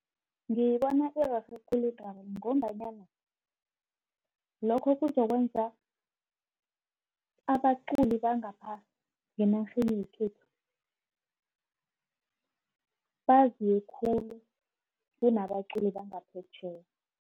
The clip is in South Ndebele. Ngibona kurerhe khulu ngombanyana lokho kuzokwenza abaculi bangapha ngenarheni yekhethu, baziwe khulu, kunabaculi bangaphetjheya.